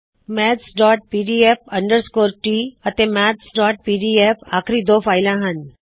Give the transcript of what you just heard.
maths PDF ਟੀ mathspdf ਟ ਅਤੇ ਮੈਥਜ਼ਪੀਡੀਏਫ mathsਪੀਡੀਐਫ ਆਖਿਰੀ ਦੋ ਫਾਇਲਾਂ ਹੱਨ